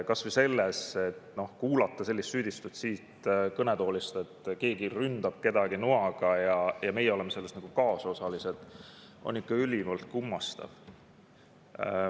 Kas või see, et kuulata siit kõnetoolist sellist süüdistust, et keegi ründab kedagi noaga ja meie oleme selles kaasosalised, on ikka ülimalt kummastav.